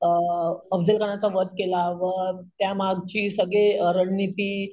अं अफझल खानाचा वध केला वध त्यामागची अं सगळी रणनीती,